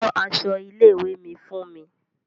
Ran aṣọ ilé ìwé mi fún mi.